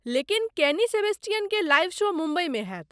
लेकिन केनी सेबेस्टियनके live show मुम्बईमे होयत।